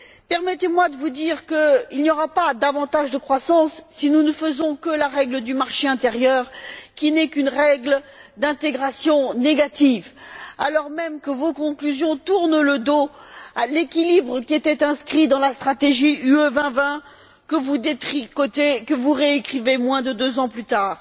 Permettez moi de vous dire qu'il n'y aura pas davantage de croissance si vous ne faites que la règle du marché intérieur, qui n'est qu'une règle d'intégration négative, alors même que vos conclusions tournent le dos à l'équilibre qui était inscrit dans la stratégie Europe 2020, que vous détricotez, et que vous réécrivez moins de deux ans plus tard.